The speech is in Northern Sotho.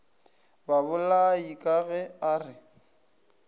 babolai ka ge a re